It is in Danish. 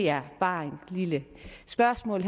er bare et lille spørgsmål